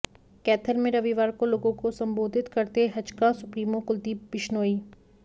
कैथल में रविवार को लोगों को संबोधित करते हजकां सुप्रीमो कुलदीप बिश्नोई